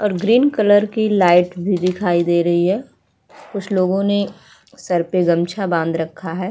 और green colour की light भी दिखाई दे रही है। कुछ लोगो नें सर पर गमछा बांद रखा है।